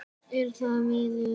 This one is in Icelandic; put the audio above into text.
Er það miður.